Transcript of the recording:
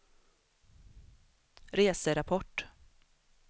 reserapport